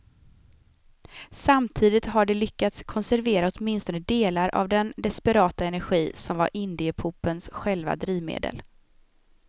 Samtidigt har de lyckats konservera åtminstone delar av den desperata energi som var indiepopens själva drivmedel.